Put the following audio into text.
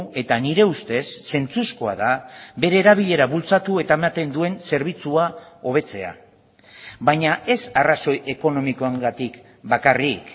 eta nire ustez zentzuzkoa da bere erabilera bultzatu eta ematen duen zerbitzua hobetzea baina ez arrazoi ekonomikoengatik bakarrik